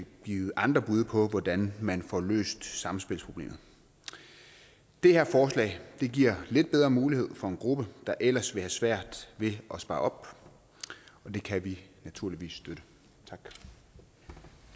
givet andre bud på hvordan man får løst samspilsproblemet det her forslag giver lidt bedre mulighed for en gruppe der ellers vil have svært ved at spare op og det kan vi naturligvis støtte